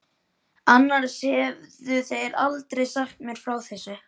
Annars hefðu þeir aldrei sagt mér frá þessu.